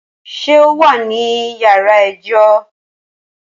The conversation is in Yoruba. Ṣé o wà ní yàrá ẹjọ́?